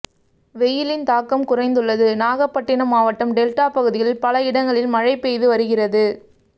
வெயிலின் தாக்கம் குறைந்துள்ளது நாகப்பட்டினம் மாவட்டம் டெல்டா பகுதிகளில் பல இடங்களில் மழை பெய்து வருகிறது